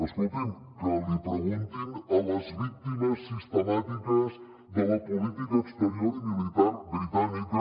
escolti’m que l’hi preguntin a les víctimes sistemàtiques de la política exterior i militar britànica